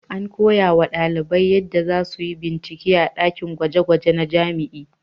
An koyawa ɗalibai yadda za su yi bincike da ɗakin gwaje-gwaje na jami'a.